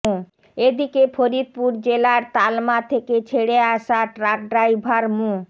এদিকে ফরিদপুর জেলার তালমা থেকে ছেড়ে আসা ট্রাক ড্রাইভার মো